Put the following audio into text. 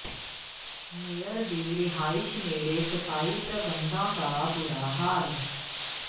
mayor ਦੀ ਰਿਹਾਇਸ਼ ਨੇਡ਼ੇ ਸਫ਼ਾਈ ਪ੍ਰਬੰਧਾਂ ਦਾ ਬੁਰਾ ਹਾਲ